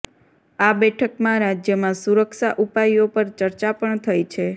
આ બેઠકમાં રાજ્યમાં સુરક્ષા ઉપાયો પર ચર્ચા પણ થઈ છે